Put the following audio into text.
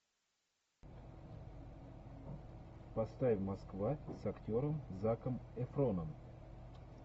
поставь москва с актером заком эфроном